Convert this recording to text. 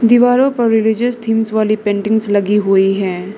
दीवारों पर religious themes वाली पेंटिंग्स लगी हुई है।